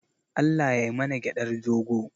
Allah yai mana gyaɗar dogo.